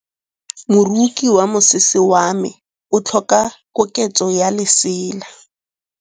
Moroki wa mosese wa me o tlhoka koketsô ya lesela.